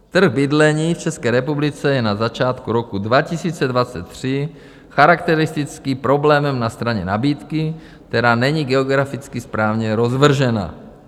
Trh bydlení v České republice je na začátku roku 2023 charakteristický problémem na straně nabídky, která není geograficky správně rozvržena.